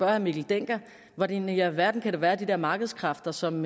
herre mikkel dencker hvordan i alverden det kan være at de der markedskræfter som